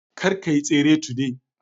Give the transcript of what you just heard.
Kar kayi tsere today